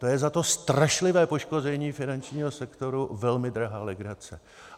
To je za to strašlivé poškození finančního sektoru velmi drahá legrace.